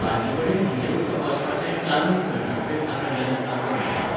तांचेकडेन हिशोब तपासपाचें चालंत सर्टिफिकेट आसा जाल्यार तांकां विचारात.